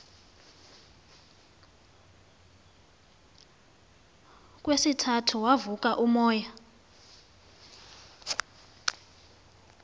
kwesithathu wavuka umoya